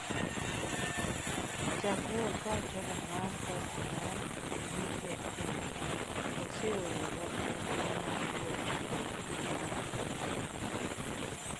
Chakre okawo telo mar parti mar GFA, oseoro wach maduong' mar kwedo kedo mar mibadhi.